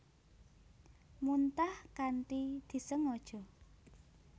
Muntah kanthi disengaja